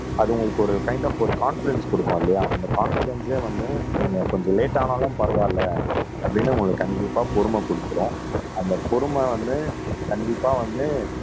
அது உங்களுக்கு ஒரு கைன்ட் ஆப் ஒரு கான்பிடென்ஸ் குடுக்கும் இல்லையா அந்த கான்பிடென்ஸே வந்து நீங்க கொஞ்சம் லேட் ஆனாலும் பரவாயில்லை அப்படின்னு உங்களுக்கு கண்டிப்பா பொறுமை கொடுத்திரும் அந்த பொறுமை வந்து கண்டிப்பா வந்து